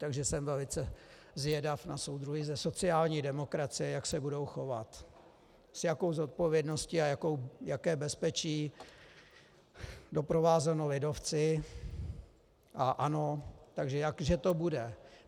Takže jsem velice zvědav na soudruhy ze sociální demokracie, jak se budou chovat, s jakou zodpovědností a jaké bezpečí doprovázeno lidovci a ANO, takže jak že to bude.